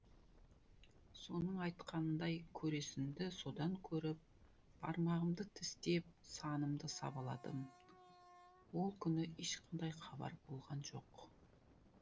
соның айтқанындай көресінді содан көріп бармағымды тістеп санымды сабаладым ол күні ешқандай хабар болған жоқ